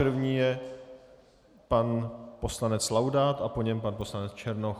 První je pan poslanec Laudát a po něm pan poslanec Černoch.